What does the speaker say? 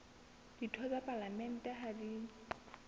ditho tsa palamente ha di